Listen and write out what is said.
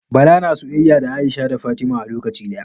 Bala na soyayya da Aisha da Fatima a lokaci daya